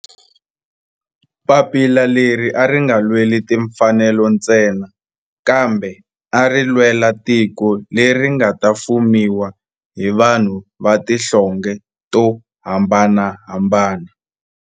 Papila leri a ri nga lweli timfanelo ntsena kambe ari lwela tiko leri nga ta fumiwa hi vanhu va tihlonge to hambanahambana.